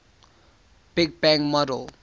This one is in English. big bang model